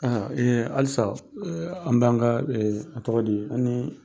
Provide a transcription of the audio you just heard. halisa an bɛ an ka a tɔgɔ di an ni